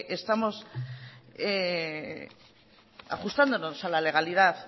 estamos ajustándonos a la realidad